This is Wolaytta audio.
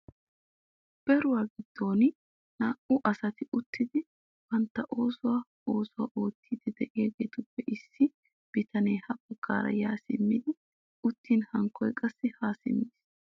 Beeruwa giddon naa"u asati uttidi bantta oosuwa oosuwa oottiiddi de'iyageetuppe issi bitanee ha baggaara yaa simmidi uttin hankkoy qassi haa simmiis.